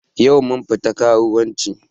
Yau mun fita karuwanci